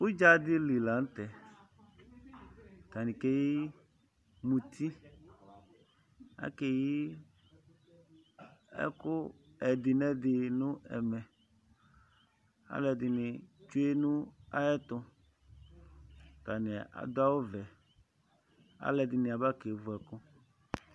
Udza ɖili laŋtɛ Ataŋi Ketu muti Akeyi ɛku ɛɖinɛɖi ŋu ɛmɛ Alu ɛɖìní tsʋe ŋu aɣʋɛtu Ataŋi aɖu awu ɔvɛ Alu ɛɖìní aba kevʋ ɛku